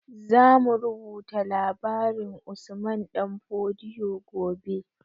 Zamu rubuta labarin usman ɗan fodio gobe